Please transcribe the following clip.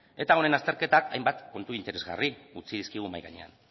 eta honen azterketa hainbat puntu interesgarri utzi dizkigu mahai gainean